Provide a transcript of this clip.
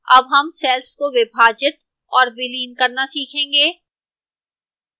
अब हम cells को विभाजित और विलीन करना सीखेंगे